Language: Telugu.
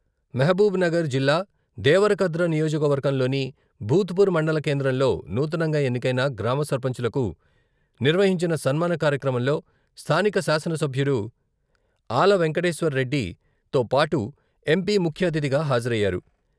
మహబూబ్ నగర్ జిల్లా దేవరకద్ర నియోజకవర్గంలోని భూత్పూర్ మండల కేంద్రంలో నూతనంగా ఎన్నికైన గ్రామ సర్పంచులకు నిర్వహించిన సన్మాన కార్యక్రమంలో స్థానిక శాసనసభ్యుడు ఆల వెంకటేశ్వర్రెడ్డి తో పాటు ఎంపీ ముఖ్య అతిథిగా హాజరయ్యారు.